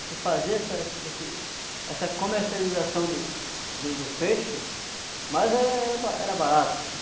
A gente fazia essa essa essa comercialização do do do peixe, mas era era barato.